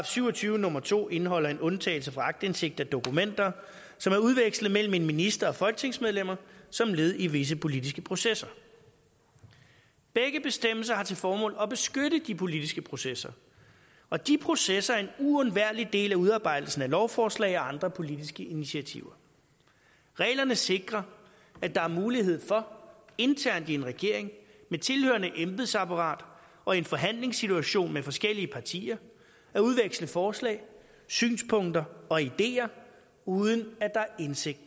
syv og tyve nummer to indeholder en undtagelse fra aktindsigt af dokumenter som er udvekslet mellem en minister og folketingsmedlemmer som led i visse politiske processer begge bestemmelser har til formål at beskytte de politiske processer og de processer er en uundværlig del af udarbejdelsen af lovforslag og andre politiske initiativer reglerne sikrer at der er mulighed for internt i en regering med tilhørende embedsapparat og i en forhandlingssituation med forskellige partier at udveksle forslag synspunkter og ideer uden at der er indsigt